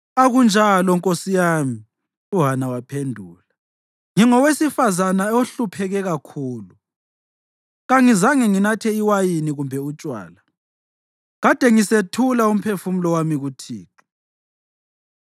“Akunjalo nkosi yami,” uHana waphendula. “Ngingowesifazane ohlupheke kakhulu. Kangizange nginathe iwayini kumbe utshwala. Kade ngisethula umphefumulo wami kuThixo.